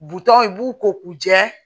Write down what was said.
Butɔn in i b'u ko k'u jɛ